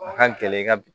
A ka gɛlɛn i ka bi